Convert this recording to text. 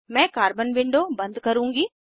मैं carbon window बंद करुँगी